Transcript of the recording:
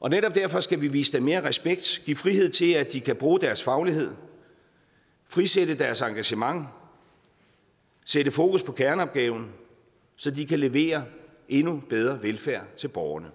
og netop derfor skal vi vise dem mere respekt give frihed til at de kan bruge deres faglighed frisætte deres engagement sætte fokus på kerneopgaven så de kan levere endnu bedre velfærd til borgerne